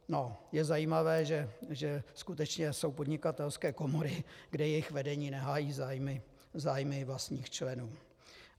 Je zajímavé, že skutečně jsou podnikatelské komory, kde jejich vedení nehájí zájmy vlastních členů.